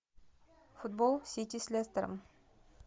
футбол сити с лестером